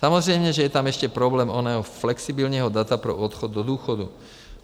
Samozřejmě že je tam ještě problém oného flexibilního data pro odchod do důchodu.